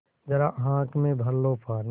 ज़रा आँख में भर लो पानी